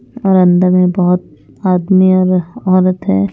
और अंदर में बहुत आदमी और औरत है।